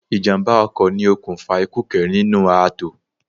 Ìjàm̀bá ọkọ ni okùnfà ikú kẹrin nínú ààtò.